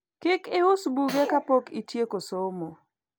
kik ius buge kapok itieko somo